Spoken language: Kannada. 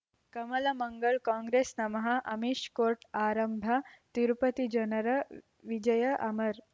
ಕಮಲ್ ಮಂಗಳ್ ಕಾಂಗ್ರೆಸ್ ನಮಃ ಅಮಿಷ್ ಕೋರ್ಟ್ ಆರಂಭ ತಿರುಪತಿ ಜನರ ವಿಜಯ ಅಮರ್